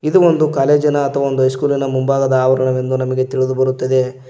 ಇದು ಒಂದು ಕಾಲೇಜಿ ನ ಅಥವಾ ಒಂದು ಹೈಸ್ಕೂಲಿ ನ ಮುಂಭಾಗದ ಆವರಣ ಎಂದು ನಮಗೆ ತಿಳಿದು ಬರುತ್ತದೆ.